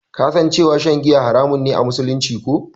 Ka san cewa shan giya haramun ne a musulunci, ko?